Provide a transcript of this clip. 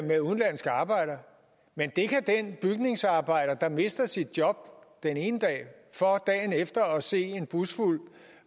med udenlandske arbejdere men det kan den bygningsarbejder der mister sit job den ene dag for dagen efter at se en busfuld